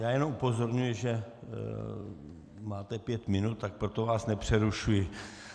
Já jenom upozorňuji, že máte pět minut, tak proto vás nepřerušuji.